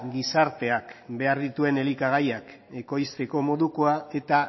gizarteak behar dituen elikagaiak ekoizteko modukoa eta